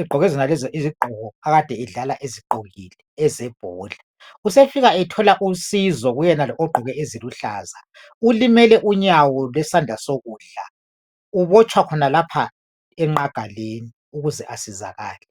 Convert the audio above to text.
egqoke zonezo izigqoko ade edlala ezigqokile, ezebhola. Usefika ethola usizo kuyenalo ogqoke eziluhlaza. Ulimele unyawo lwesandala sokudla. Ubotshwa khonalapho engqagaleni ukuze asizakale.